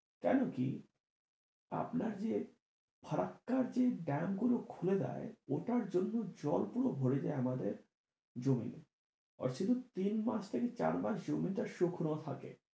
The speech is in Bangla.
কেন কি আপনার যে ফারাক্কার যে dam গুলো যে খুলে দেয় ওটার জন্য জল পুরো ভরে যাই আমাদের জমিন আর শুধু তিন মাস থেকে চার মাস জমিটা শুকনো থাকে।